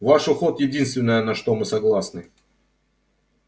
ваш уход единственное на что мы согласны